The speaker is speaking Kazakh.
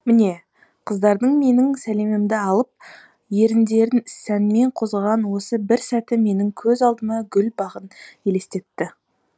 міне қыздардың менің сәлемімді алып еріндерін сәнмен қозғаған осы бір сәті менің көз алдыма гүл бағын елестетті